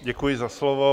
Děkuji za slovo.